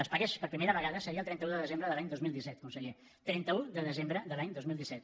es pagués per primera vegada seria el trenta un de desembre de l’any dos mil disset conseller trenta un de desembre de l’any dos mil disset